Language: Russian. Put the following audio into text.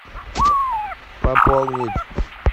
пополнить